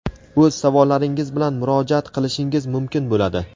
o‘z savollaringiz bilan murojaat qilishingiz mumkin bo‘ladi).